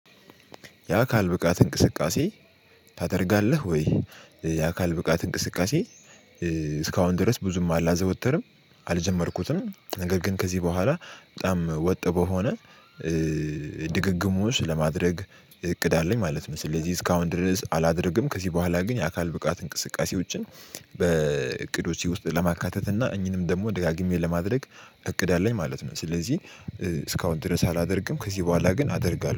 የአካል ብቃት እንቅስቃሴ ታደርጋለህ ወይ? የአካል ብቃት እንቅስቃሴ እስካሁን ድረስ ብዙም አላዘወተርም አልጀመርኩትም ነገር ግን ከዚህ በኋላ በጣም ወጥ በሆነ ድግግሞሽ ለማድረግ እቅድ አለኝ ማለት መሰለኝ። ለዚህ እስካሁን ድረስ አላደርግም ከዚህ በኋላ ግን የአካል ብቃት እንቅስቃሴዎችን በእቅዶቼ ውስጥ ለማካተት እና እኚህንም ደግሞ ደጋግሜ ለማድረግ እቅድ አለኝ ማለት ነው። ስለዚህ እስካሁን ድረስ አላደርግም ከዚህ በኋላ ግን አደርጋለሁ